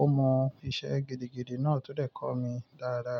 ó mọ iṣẹ́ gidigidi náà tó dè kọ́ mi dáradára.